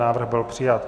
Návrh byl přijat.